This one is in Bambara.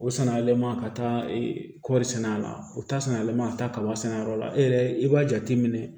O sannalenman ka taa kɔri sɛnɛ a la o ta san yɛlɛma ka taa kaba sɛnɛ a yɔrɔ la e yɛrɛ i b'a jateminɛ